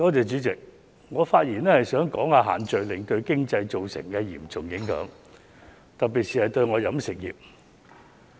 主席，我發言想談談限聚令對經濟造成的嚴重影響，特別是對飲食業界。